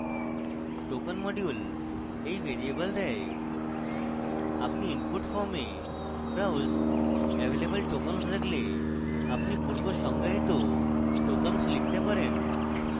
token module when variable দেয় আপনি input form এ browse available tokens দেখলে আপনি পূর্ব সংজ্ঞায়িত tokens লিখতে পারেন